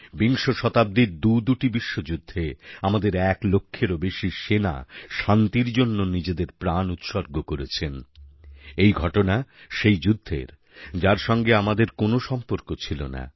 বিংশ শতাব্দীর দুদুটি বিশ্বযুদ্ধে আমাদের এক লক্ষেরও বেশি সেনা শান্তির জন্য নিজেদের প্রাণ উৎসর্গ করেছেন এই ঘটনা সেই যুদ্ধের যার সঙ্গে আমাদের কোনও সম্পর্ক ছিল না